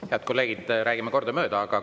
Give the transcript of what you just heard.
Head kolleegid, räägime kordamööda!